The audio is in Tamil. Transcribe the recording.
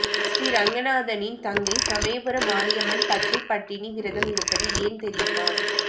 ஸ்ரீரங்கநாதனின் தங்கை சமயபுரம் மாரியம்மன் பச்சை பட்டினி விரதம் இருப்பது ஏன் தெரியுமா